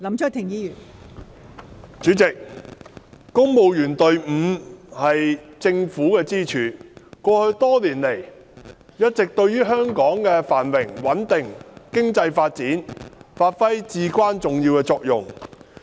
代理主席，公務員隊伍是政府的支柱，過去多年來，一直對香港的繁榮、穩定、經濟發展發揮至關重要的作用。